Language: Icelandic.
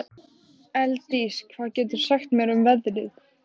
Elddís, hvað geturðu sagt mér um veðrið?